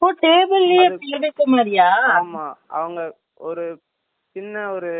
ஆமா அவங்க ஒரு சின்ன ஒரு இது போட்டு close பண்ணி வச்சியிருப்பாங்க அதே